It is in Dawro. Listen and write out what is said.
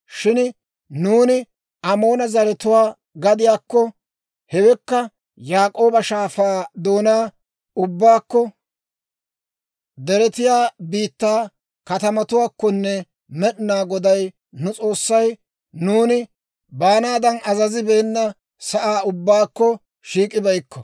Shin nuuni Amoona zaratuwaa gadiyaakko, hewekka Yaabook'a Shaafaa doonaa ubbaakko, deretiyaa biittaa katamatuwaakkonne Med'inaa Goday nu S'oossay nuuni baanaadan azazibeena saa ubbaakko shiik'ibeykko.